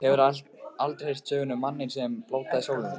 Hefurðu aldrei heyrt söguna um manninn, sem blótaði sólinni.